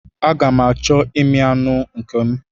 Aga m achọ imi anụ nke m.